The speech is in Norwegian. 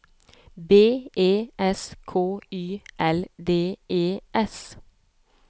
B E S K Y L D E S